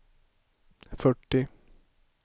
fyrtio